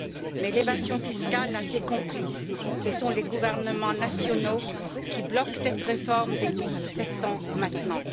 Mais l'évasion fiscale a ses complices, ce sont les gouvernements nationaux, qui bloquent cette réforme depuis sept ans maintenant.